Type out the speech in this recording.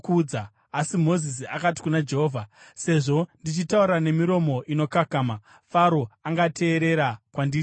Asi Mozisi akati kuna Jehovha, “Sezvo ndichitaura nemiromo inokakama, Faro angateerera kwandiri seiko?”